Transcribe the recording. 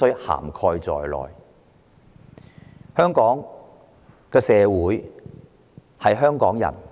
香港社會屬於香港人。